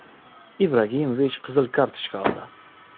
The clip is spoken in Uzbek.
Ibragimovich qizil kartochka oldi.